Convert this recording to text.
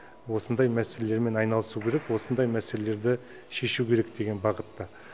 осындай мәселелермен айналысу керек осындай мәселелерді шешу керек деген бағытта